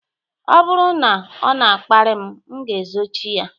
Ọ bụrụ na ọ na-akparị m, m ga-ezochi ya